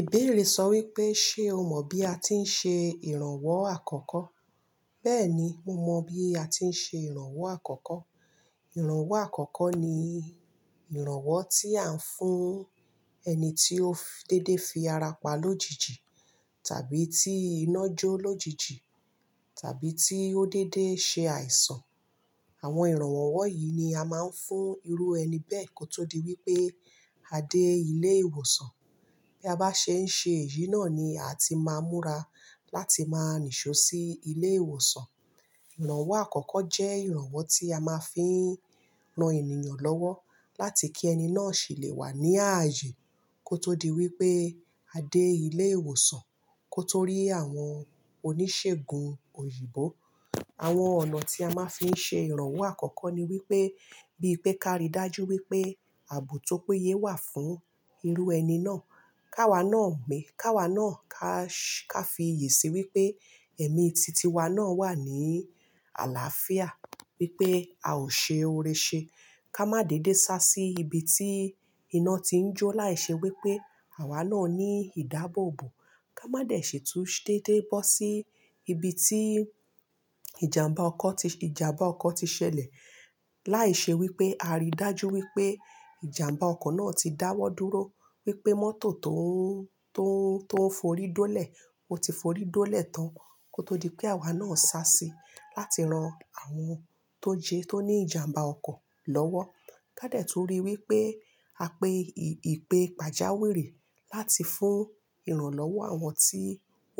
Ìbéèrè sọ wípé ṣe o mọ bí a ti ń ṣe ìrànwọ́ àkọ́kọ́. Bẹ́ẹ̀ni, mo mọ bí a ti ń ṣe ìrànwọ́ àkọ́kọ́. Ìrànwọ́ àkọ́kọ́ ni ìrànwọ́ tí à ń fún ẹni tí ó dédé fi ara pa lójijì, tàbí tí iná jó lójijì, tàbí tí ó dédé ṣe àìsàn. Àwọn ìrànwọ́ wọ̀ yìí ni a máa ń fún irú ẹni bẹ́ẹ̀ kó tó di wípé a dé ilé ìwòsàn. Bí a bá ṣe ń ṣe èyí náà ni a ti máa múra láti máa níṣò sí ilé ìwòsàn. Ìrànwọ́ àkọ́kọ́ jẹ́ ìrànwọ́ tí a máa fi ń ran ènìyàn lọ́wọ́ láti kí ẹni náà sì lè wà ní ààyè kó tó di wípé a dé ilé ìwòsàn. Kó tó rí àwọn oníṣègùn òyìnbó. Àwọn ọ̀nà tí a máa ń fi ṣe ìrànwọ́ àkọ́kọ́ ni wípé bí pé ká rí dájú wípé àbò tó péye wà fún irú ẹni náà. Ká wa náà mi, ká wa náà ká, ká fi ìyè sí wípé ẹ̀mí titi wa náà wà ní àlàáfíà, wípé a ò ṣe ore ṣe. Ká má dédé sá sí ibi tí iná ti ń jó, láì ṣe wípé àwa náà ní ìdábòbò. Ká má dẹ̀ ṣe tún dédé bọ́ sí ibi tí ìjàmbá ọkọ̀ ti, ìjàmbá ọkọ̀ ti ṣẹlẹ̀, láì ṣe wípé a rí dájú wípé ìjàmbá ọkọ̀ náà ti dáwọ́ dúró, wípé mọ́tò tó ń, tó ń, tó ń forí dólẹ̀ ò tí forí dólẹ̀ tán kó tó di pé àwa náà sá síi láti ran àwọn tó jẹ tó ní ìjàmbá ọkọ̀ lọ́wọ́. Ká dẹ̀ tún ríi wípé a pe ìpè pàjáwìrì láti fún ìrànlọ́wọ́ àwọn tí